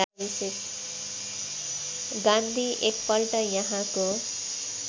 गान्धी एकपल्ट यहाँको